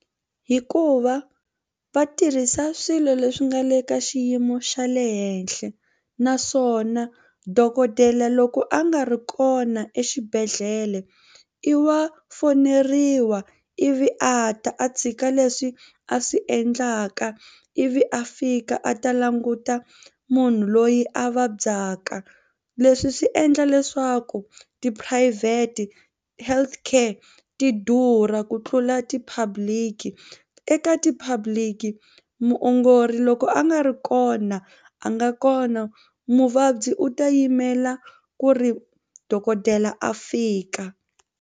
Hikuva va tirhisa swilo leswi nga le ka xiyimo xa le henhla naswona dokodela loko a nga ri kona exibedhlele i wa foneriwa ivi a ta a tshika leswi a swi endlaka ivi a fika a ta languta munhu loyi a vabyaka. Leswi swi endla leswaku tiphurayivhete healthcare ti durha ku tlula ti-public eka ti-public muongori loko a nga ri kona a nga kona muvabyi u ta yimela ku ri dokodela a fika.